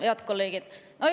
Head kolleegid!